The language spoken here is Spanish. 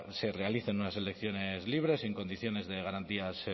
se realicen unas elecciones libres y en condiciones de garantías